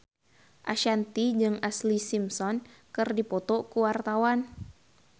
Ashanti jeung Ashlee Simpson keur dipoto ku wartawan